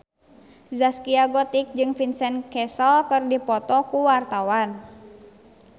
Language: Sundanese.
Zaskia Gotik jeung Vincent Cassel keur dipoto ku wartawan